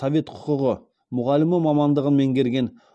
совет құқығы мұғалімі мамандығын меңгерген